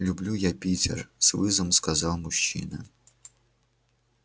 люблю я питер с вызовом сказал мужчина